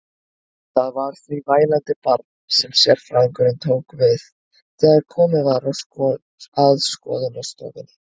Það var því vælandi barn sem sérfræðingurinn tók við þegar komið var að skoðunarstofunni.